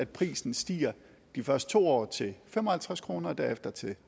prisen stiger de første to år til fem og halvtreds kroner og derefter til